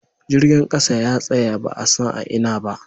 Jirgin kasa ya tsaya ba'a san a Ina ba.